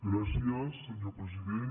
gràcies senyor president